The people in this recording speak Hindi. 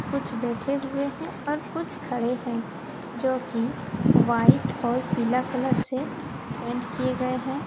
कुछ बैठे हुए हैं और कुछ खड़े हैं जोकि व्हाइट और पीला कलर से पेंट किए गए हैं।